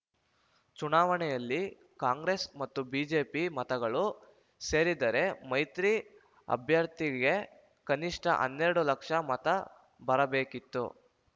ಚುನಾವಣೆಯಲ್ಲಿ ಕಾಂಗ್ರೆಸ್‌ ಮತ್ತು ಬಿಜೆಪಿ ಮತಗಳು ಸೇರಿದರೆ ಮೈತ್ರಿ ಅಭ್ಯರ್ಥಿಗೆ ಕನಿಷ್ಠ ಹನ್ನೆರಡು ಲಕ್ಷ ಮತ ಬರಬೇಕಿತ್ತು